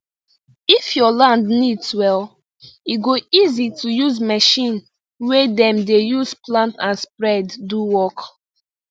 if your land neat well e go easy to use machine wey dem dey use plant and spread do work